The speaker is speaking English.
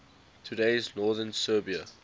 today's northern serbia